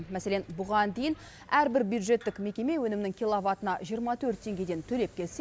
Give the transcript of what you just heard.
мәселен бұған дейін әрбір бюджеттік мекеме өнімнің килобатына жиырма төрт теңгеден төлеп келсе